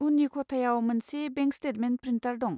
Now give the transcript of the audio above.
उननि खथायाव मोनसे बेंक स्टेटमेन्ट प्रिन्टार दं।